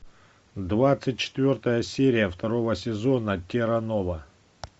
двадцать четвертая серия второго сезона терра нова